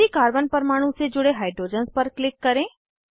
उसी कार्बन परमाणु से जुड़े हाइड्रोजन्स पर क्लिक करें